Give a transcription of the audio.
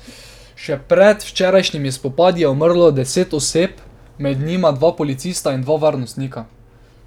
Še pred včerajšnjimi spopadi je umrlo deset oseb, med njimi dva policista in dva varnostnika.